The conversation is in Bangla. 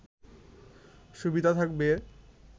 সুবিধা থাকবে